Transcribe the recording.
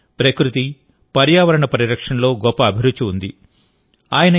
ఆయనకు ప్రకృతి పర్యావరణ పరిరక్షణలో గొప్ప అభిరుచి ఉంది